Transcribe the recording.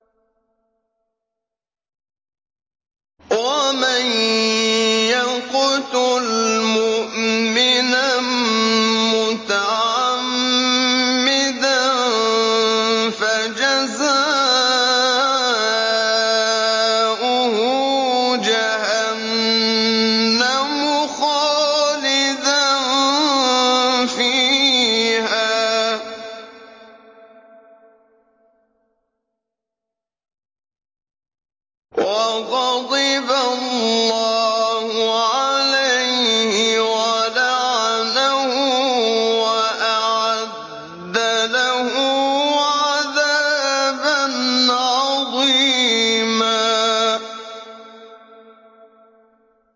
وَمَن يَقْتُلْ مُؤْمِنًا مُّتَعَمِّدًا فَجَزَاؤُهُ جَهَنَّمُ خَالِدًا فِيهَا وَغَضِبَ اللَّهُ عَلَيْهِ وَلَعَنَهُ وَأَعَدَّ لَهُ عَذَابًا عَظِيمًا